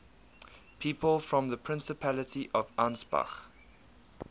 people from the principality of ansbach